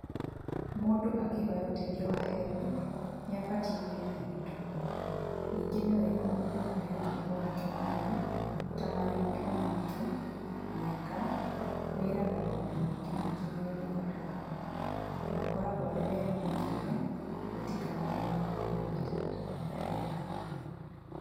Mũndũ akĩhoya ũteithio wa Helb, nĩ abatie kũheana gĩtũmi, ningĩ nĩwega mũndũ kũheana ũhoro wake wamaa, ta marĩtwa make, mĩaka, wĩra na maũndũ mangĩ maingĩ marĩa mabataragwo, na akoragwo arĩ wega makĩria gwĩtĩkanĩria na mawatho na mĩtaratara ya Helb.